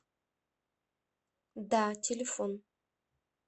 да телефон